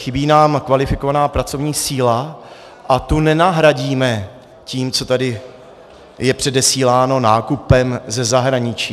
Chybí nám kvalifikovaná pracovní síla a tu nenahradíme tím, co je tady předesíláno, nákupem ze zahraničí.